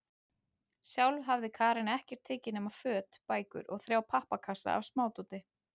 Sjálf hafði Karen ekkert tekið nema föt, bækur og þrjá pappakassa af smádóti.